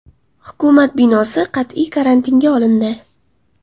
Hukumat binosi qat’iy karantinga olindi.